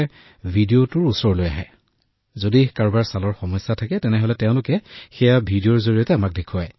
আৰু কেতিয়াবা ভিডিঅটোত ৰোগীৰ ওচৰলৈ আহি তেওঁ সন্মুখীন হোৱা সমস্যাবোৰ যদি কাৰোবাৰ ছালৰ সমস্যা হয় তেন্তে তেওঁ আমাক ভিডিঅটোৰ জৰিয়তে দেখুৱায়